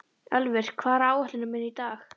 Ölvir, hvað er á áætluninni minni í dag?